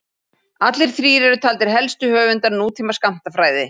Allir þrír eru taldir helstu höfundar nútíma skammtafræði.